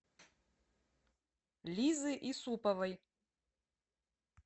лизы исуповой